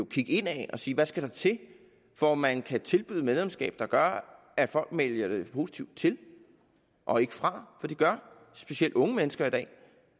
kigge indad og sige hvad skal der til for at man kan tilbyde et medlemskab der gør at folk vælger det positivt til og ikke fra for det gør specielt unge mennesker i dag